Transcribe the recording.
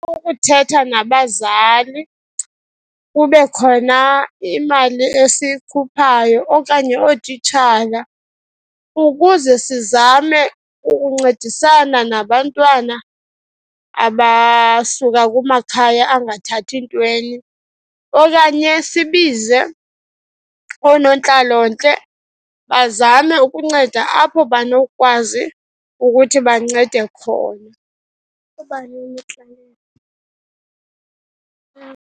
Kukuthetha nabazali kube khona imali esiyikhuphayo okanye ootitshala, ukuze sizame ukuncedisana nabantwana abasuka kumakhaya angathathi ntweni. Okanye sibize oonontlalontle, bazame ukunceda apho banokwazi ukuthi bancede khona